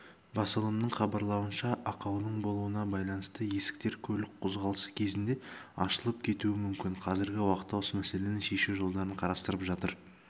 басылымның хабарлауынша ақаудың болуына байланысты есіктер көлік қозғалысы кезінде ашылып кетуі мүмкін қазіргі уақытта осы мәселені шешу жолдарын қарастырып жатыр